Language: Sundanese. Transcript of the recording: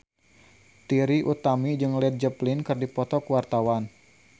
Trie Utami jeung Led Zeppelin keur dipoto ku wartawan